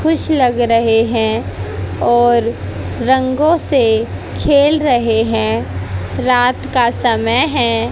खुश लग रहे हैं और रंगों से खेल रहे हैं रात का समय है।